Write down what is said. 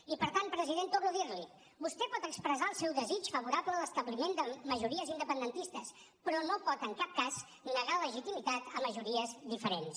i per tant president torno a dir l’hi vostè pot expressar el seu desig favorable a l’establiment de majories independentistes però no pot en cap cas negar legitimitat a majories diferents